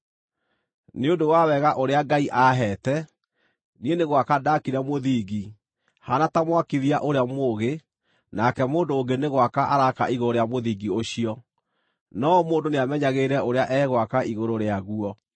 Nĩ ũndũ wa wega ũrĩa Ngai aaheete, niĩ nĩ gwaka ndaakire mũthingi haana ta mwakithia ũrĩa mũũgĩ nake mũndũ ũngĩ nĩ gwaka araaka igũrũ rĩa mũthingi ũcio. No o mũndũ nĩamenyagĩrĩre ũrĩa egwaka igũrũ rĩaguo.